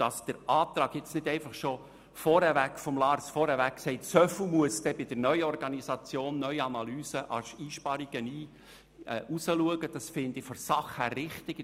Dass die Planungserklärung von Lars Guggisberg nicht von vornherein sagt, wie viel bei der Neuorganisation, der Neuanalyse an Einsparungen resultieren, finde ich sachlich richtig.